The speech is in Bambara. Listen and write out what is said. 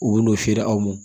U bi n'o feere aw ma